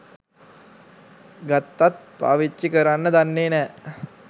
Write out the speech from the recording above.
ගත්තත් පාවිච්චි කරන්න දන්නෙ නෑ.